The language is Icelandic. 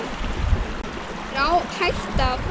Þá er hætta á ferð.